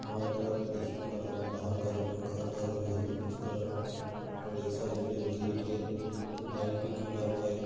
बाएं तरफ A C का बाहर का जो पंखा होता है वो है उसका और एक साइड पे गेट है। बाइक भी खड़ा हुआ है।